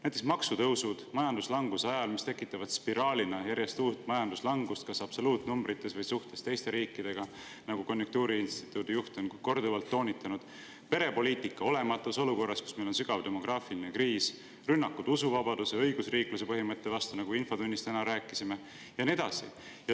Näiteks maksutõusud majanduslanguse ajal, mis tekitavad spiraalina järjest uut majanduslangust kas absoluutnumbrites või suhtes teiste riikidega, nagu konjunktuuriinstituudi juht on korduvalt toonitanud; olematu perepoliitika olukorras, kus meil on sügav demograafiline kriis; rünnakud usuvabaduse ja õigusriikluse põhimõtte vastu, nagu infotunnis täna rääkisime; ja nii edasi.